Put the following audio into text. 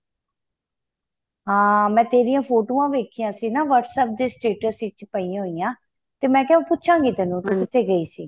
ਹਾਂ ਮੈਂ ਤੇਰੀਆਂ ਫੋਟੋਆਂ ਵੇਖੀਆਂ ਸੀ ਨਾ whats app ਦੇ status ਚ ਪਇਆ ਹੋਈਆਂ ਮੈਂ ਕਿਹਾ ਪੁੱਛਾ ਗਈ ਤੇਨੂੰ ਕਿਥੇ ਗਈ ਸੀ